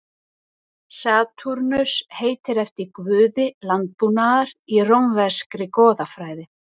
Satúrnus heitir eftir guði landbúnaðar úr rómverskri goðafræði.